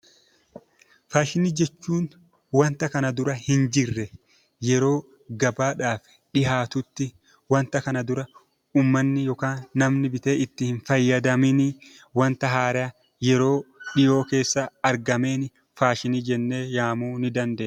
Faashinii jechuun waanta kana dura hin jirre yeroo gabaadhaaf dhihaatutti waanta kana dura uummanni yookaan namni bitee itti hin fayyadamiin, waanta haaraa dhiyoo keessa argame faashinii jennee waamuu ni dandeenya.